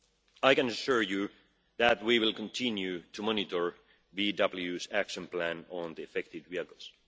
I can assure you that we will continue to monitor VW's action plan on the affected vehicles.